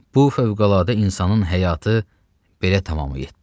Bu fövqəladə insanın həyatı belə tamam oldu.